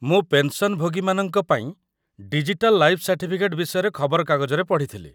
ମୁଁ ପେନ୍‌ସନ୍‌ଭୋଗୀମାନଙ୍କ ପାଇଁ 'ଡିଜିଟାଲ୍ ଲାଇଫ୍ ସାର୍ଟିଫିକେଟ୍' ବିଷୟରେ ଖବରକାଗଜରେ ପଢ଼ିଥିଲି ।